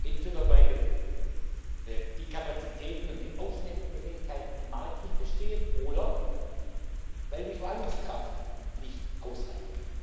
Entweder, weil die Kapazitäten und die Aufnahmefähigkeiten im Markt nicht bestehen oder weil die Verwaltungskraft nicht ausreicht.